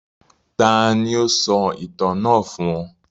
Taàní ó sọ ìtàn náà fún ọ?